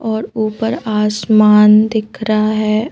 और ऊपर आसमान दिख रहा है।